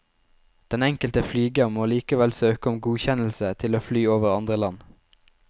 Den enkelte flyger må likevel søke om godkjennelse til å fly over andre land.